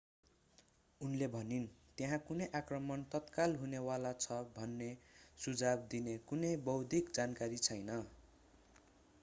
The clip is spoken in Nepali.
उनले भनिन् त्यहाँ कुनै आक्रमण तत्काल हुने वाला छ भन्ने सुझाव दिने कुनै बौद्धिक जानकारी छैन